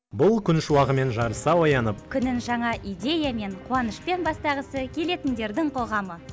бұл күн шуағымен жарыса оянып күнін жаңа идеямен қуанышпен бастағысы келетіндердің қоғамы